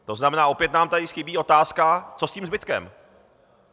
To znamená, opět nám tady chybí otázka, co s tím zbytkem.